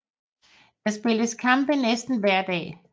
Der spilles kampe næsten hver dag